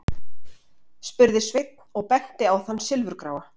spurði Sveinn og benti á þann silfurgráa.